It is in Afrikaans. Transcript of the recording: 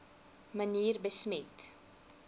manier besmet